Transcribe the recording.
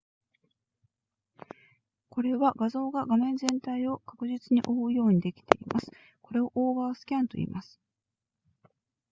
これは画像が画面全体を確実に覆うようにできていますこれをオーバースキャンといいます